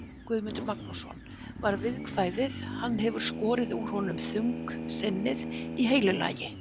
Guðmundur Magnússon, var viðkvæðið, hann hefur skorið úr honum þungsinnið í heilu lagi.